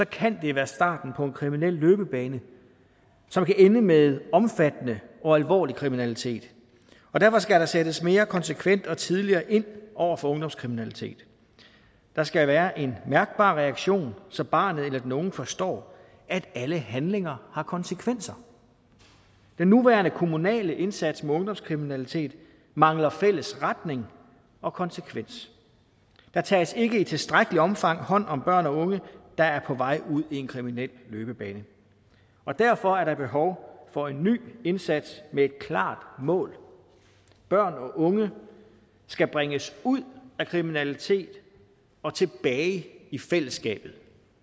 kan det være starten på en kriminel løbebane som kan ende med omfattende og alvorlig kriminalitet og derfor skal der sættes mere konsekvent og tidligere ind over for ungdomskriminalitet der skal være en mærkbar reaktion så barnet eller den unge forstår at alle handlinger har konsekvenser den nuværende kommunale indsats mod ungdomskriminalitet mangler fælles retning og konsekvens der tages ikke i tilstrækkeligt omfang hånd om børn og unge der er på vej ud i en kriminel løbebane og derfor er der behov for en ny indsats med et klart mål børn og unge skal bringes ud af kriminalitet og tilbage i fællesskabet